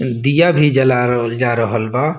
दिया भी जला रहल जा रहल बा।